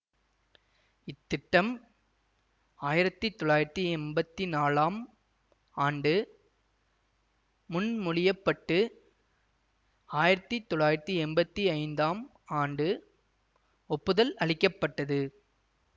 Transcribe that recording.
இத்திட்டம் ஆயிரத்தி தொள்ளாயிரத்தி எம்பத்தி நாலாம் ஆண்டு முன்மொழியப்பட்டு ஆயிரத்தி தொள்ளாயிரத்தி எம்பத்தி ஐந்தாம் ஆண்டு ஒப்புதல் அளிக்க பட்டது